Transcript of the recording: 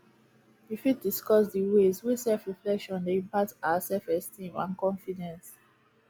you fit discuss di ways wey selfreflection dey impact our selfesteem and confidence